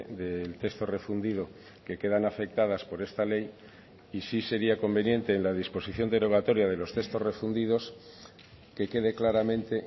del texto refundido que quedan afectadas por esta ley y sí sería conveniente en la disposición derogatoria de los textos refundidos que quede claramente